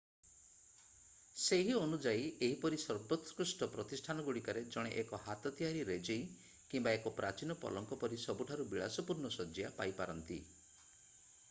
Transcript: ସେହି ଅନୁଯାୟୀ ଏହିପରି ସର୍ବୋତ୍କୃଷ୍ଟ ପ୍ରତିଷ୍ଠାନଗୁଡ଼ିକରେ ଜଣେ ଏକ ହାତ ତିଆରି ରେଜେଇ କିମ୍ବା ଏକ ପ୍ରାଚୀନ ପଲଙ୍କ ପରି ସବୁଠାରୁ ବିଳାସପୂର୍ଣ୍ଣ ଶଯ୍ୟା ପାଇପାରନ୍ତି